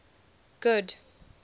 good